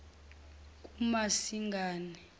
kumasingane